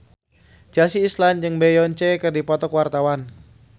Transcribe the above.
Chelsea Islan jeung Beyonce keur dipoto ku wartawan